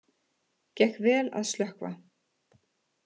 Gekk vel að slökkva